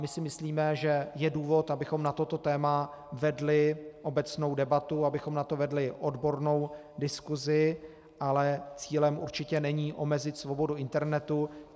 My si myslíme, že je důvod, abychom na toto téma vedli obecnou debatu, abychom na to vedli odbornou diskusi, ale cílem určitě není omezit svobodu internetu.